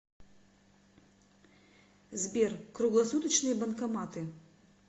сбер круглосуточные банкоматы